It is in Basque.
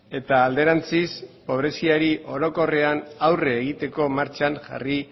eta alderantziz pobreziari orokorrean aurre egiteko martxan jarri